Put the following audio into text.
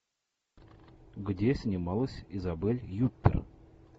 где снималась изабель юппер